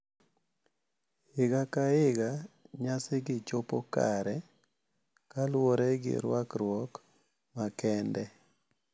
Higa ka higa nyasigi chopo kare kaluwore gi rwakruok makende,